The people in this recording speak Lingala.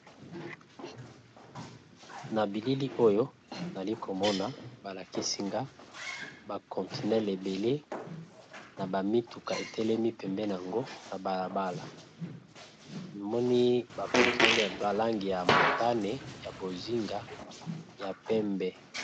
Na bilili oyo nali komona balakisinga bakontinel ebele na bamituka etelemi pembena yango na balabala moni bakontinel ya balangi ya motane ya bozinga ya pembe.